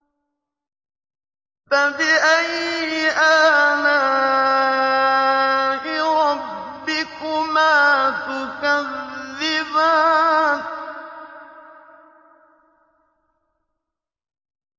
فَبِأَيِّ آلَاءِ رَبِّكُمَا تُكَذِّبَانِ